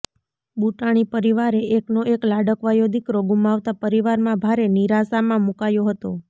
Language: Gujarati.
બુટાણી પરિવારે એકનો એક લાડકવાયો દીકરો ગુમાવતા પરિવારમાં ભારે નિરાશામાં મુકાયો હતો